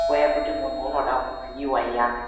nguwa yekuti munhu unoda kuvhiyiwa iyani.